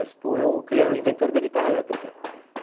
Les Paul é o inventor da guitarra elétrica, ah é?